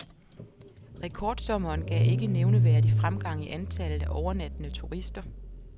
Rekordsommeren gav ikke nævneværdig fremgang i antallet af overnattende turister.